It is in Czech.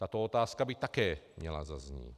Tato otázka by také měla zaznít.